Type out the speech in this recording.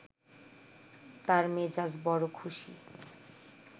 তার মেজাজ বড় খুশি